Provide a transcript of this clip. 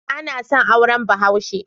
Bana son auren Bahaushe.